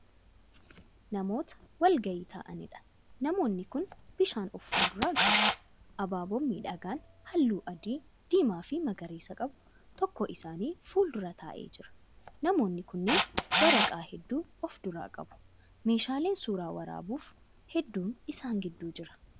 Namoota walgahii ta'aniidha. namoonni kunnii n bishaa of fuulduraa qabu. abaaboon miidhagaan halluu; adii diimaafi magariisa qabu tokko isaan fuuldura taa'ee jira. namoonni kunniin waraqaa hudduu of duraa qabu. meeshaaleen suuraa waraabuuf hedduun isaan gidduu Jira.